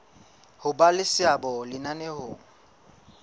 ho ba le seabo lenaneong